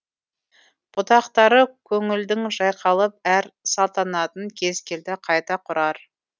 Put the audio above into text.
бұтақтары көнілдің жайқалып әр салтанатын кез келді қайта құрар